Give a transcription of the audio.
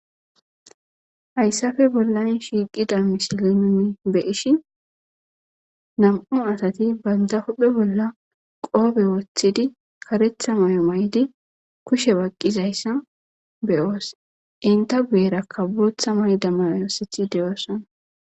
Hayssafe bollani shiiqida misilimimi be ishi nam7u asati baynda hohphe bolla qoobe woththidi karetha may7o maydi kushe baqqizayssa beyoos inta guyerakka bootha mayda mayosithi deyoossona.